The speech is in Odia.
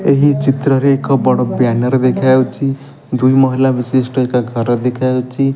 ଏହି ଚିତ୍ରରେ ଏକ ବଡ ବ୍ୟାନର ଦେଖାଯାଉଚି। ଦୁଇ ମହିଳା ବିଶିଷ୍ଟ ଏକ ଘର ଦେଖା ଯାଉଚି।